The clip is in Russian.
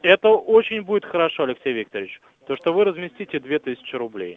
это очень будет хорошо алексей викторович то что вы разместите две тысячи рублей